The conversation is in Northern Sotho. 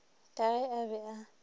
ka ge a be a